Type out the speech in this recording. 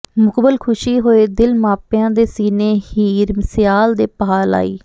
ਮੁਕਬਲ ਖ਼ੁਸ਼ੀ ਹੋਏ ਦਿਲ ਮਾਪਿਆਂ ਦੇ ਸੀਨੇ ਹੀਰ ਸਿਆਲ ਦੇ ਭਾਹ ਲਾਈ